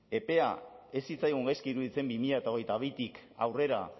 epea ez zitzaigun gaizki iruditzen bi mila hogeita bitik aurrera